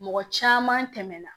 Mɔgɔ caman tɛmɛna